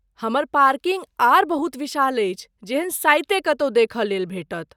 हमर पार्किंग आर बहुत विशाल अछि, जेहन साइते कतहु देखय लेल भेटत।